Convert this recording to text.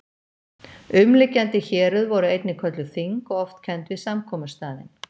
Umliggjandi héruð voru einnig kölluð þing og oft kennd við samkomustaðinn